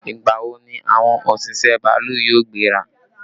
Ìgbà wo ni àwọn òṣìṣẹ́ bàálù yóò gbéra?